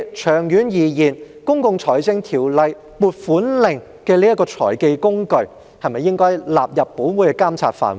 長遠而言，《公共財政條例》"撥款令"這種財技工具，是否亦應納入本會的監察範圍？